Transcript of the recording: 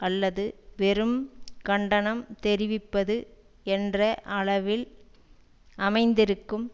அல்லது வெறும் கண்டனம் தெரிவிப்பது என்ற அளவில் அமைந்திருக்கும்